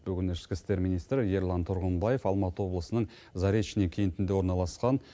бүгін ішкі істер министрі ерлан тұрғымбаев алматы облысының заречный кентінде орналасқан